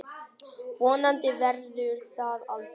Vonandi verður það aldrei.